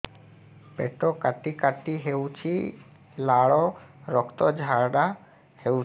ପେଟ କାଟି କାଟି ହେଉଛି ଲାଳ ରକ୍ତ ଝାଡା ହେଉଛି